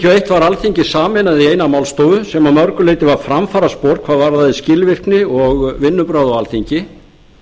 var alþingi sameinað í eina málstofu sem að mörgu leyti var framfaraspor hvað varðaði skilvirkni og vinnubrögð á alþingi